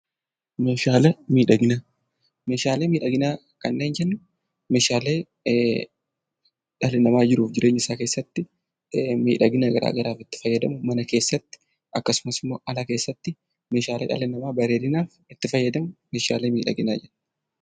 Meeshaalee miidhaginaa:- meeshaaleen kanneen jennu meeshaalee dhalli namaa jiruuf jireenya isaa keessatti miidhagina garaa garaaf tti fayyadamnu mana keessatti akkasumas alatti meeshaaleen dhalli namaa bareedinaaf itti fayyadamu meeshaalee midhaginaati.